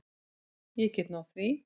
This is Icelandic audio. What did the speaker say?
Ég get náð því.